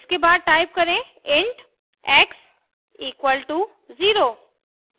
इसके बाद type करें int x = 0;